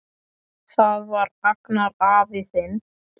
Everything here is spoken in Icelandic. Það var Agnar afi þinn.